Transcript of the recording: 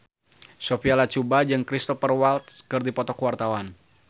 Sophia Latjuba jeung Cristhoper Waltz keur dipoto ku wartawan